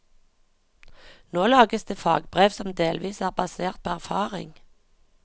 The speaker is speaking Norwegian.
Nå lages det fagbrev som delvis er basert på erfaring.